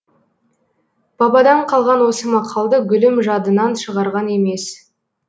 бабадан қалған осы мақалды гүлім жадынан шығарған емес